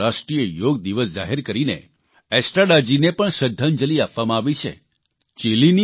તે દિવસને રાષ્ટ્રીય યોગ દિવસ જાહેર કરીને એસ્ટ્રાડાજીને પણ શ્રદ્ધાંજલિ આપવામાં આવી છે